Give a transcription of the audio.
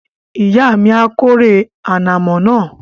Ìyá mi a kórè ànàmọ́ náà